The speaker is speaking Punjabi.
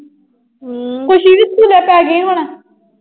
ਪੂਰੇ ਪੈ ਗਏ ਹੁਣ।